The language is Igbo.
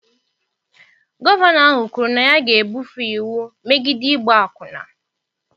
Gọvanọ ahụ kwuru na ya ga-ebufe iwu megide ịgba akwụna.